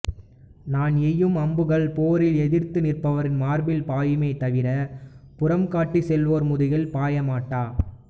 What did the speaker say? நான் எய்யும் அம்புகள் போரில் எதிர்த்து நிற்பவர்கள் மார்பில் பாயுமே தவிரப் புறங்காட்டிச் செல்வோர் முதுகுகளில் பாயமாட்டா